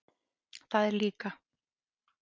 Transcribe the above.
Það er líka.